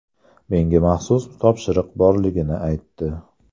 Menga maxsus topshiriq borligini aytdi.